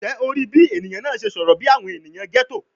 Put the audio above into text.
Njẹ o rii bi eniyan naa ṣe sọrọ bi awọn eniyan ghetto?